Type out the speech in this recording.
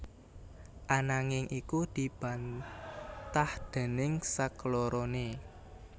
Ananging iku dibantah déning sakloroné